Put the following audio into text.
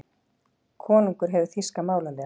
Konungur hefur þýska málaliða.